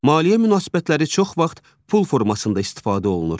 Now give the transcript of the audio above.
Maliyyə münasibətləri çox vaxt pul formasında istifadə olunur.